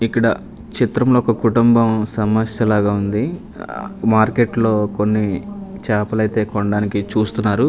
ఇక్కడ చిత్రం లో ఒక కుటుంబం సమస్య లాగా ఉంది ఆ మార్కెట్లో కొన్ని చేపలైతే కొండానికి చూస్తున్నారు.